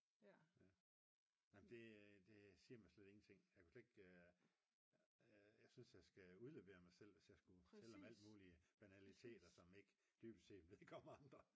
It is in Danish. nej men det siger mig slet ingenting jeg synes jeg skal udlevere mig selv hvis jeg skulle fortælle om alle mulige banaliteter som dybest set ikke vedkommer andre